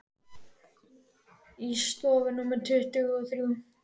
Í stofu númer tuttugu og þrjú.